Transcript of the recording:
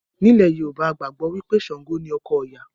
Ní ilẹ̀ Yorùbá, a gbàgbọ́ wí pé Ṣàǹgò ni ọkọ Òya